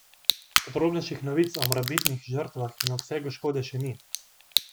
Podrobnejših novic o morebitnih žrtvah in obsegu škode še ni.